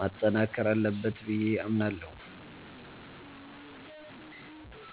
ማጠናከር አለበት ብዬ አምናለሁ።